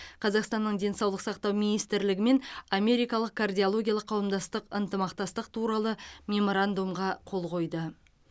қазақстанның денсаулық сақтау министрлігі мен америкалық кардиологиялық қауымдастық ынтымақтастық туралы меморандумға қол қойды